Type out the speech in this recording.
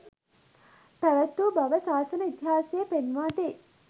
පැවත්වූ බව සාසන ඉතිහාසය පෙන්වා දෙයි